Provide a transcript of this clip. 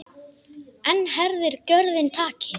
Enn herðir gjörðin takið.